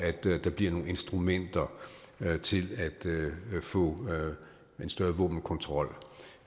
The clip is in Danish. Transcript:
at der bliver nogle instrumenter til at få en større våbenkontrol